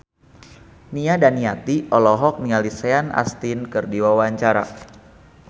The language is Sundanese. Nia Daniati olohok ningali Sean Astin keur diwawancara